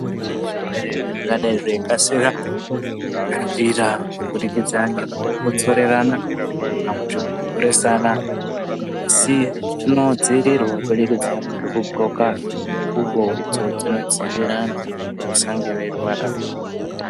Kunezvirwere zvingadai zveyikasira kuparadzira, kubudikidzana ngekukosorirana kana kuti kumhoresana. Asi zvinodzivirirwa kubudikidza ngekugqoka nguwo idzo dzinodziirira antu kuti vasange veyirwara rwara.